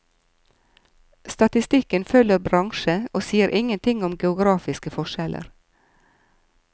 Statistikken følger bransje og sier ingenting om geografiske forskjeller.